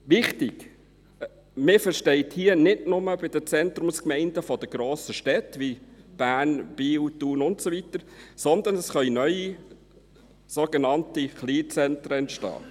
Wichtig: Man versteht hier nicht nur Zentrumsgemeinden bei den grossen Städten wie Bern, Biel, Thun und so weiter, sondern es können neue, sogenannte Kleinzentren, entstehen.